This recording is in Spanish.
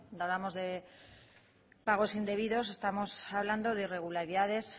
cuando hablamos de pagos indebidos estamos hablando de irregularidades